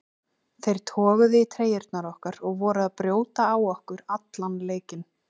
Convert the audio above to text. Þeir toguðu í treyjurnar okkar og voru að brjóta á okkur allan leikinn.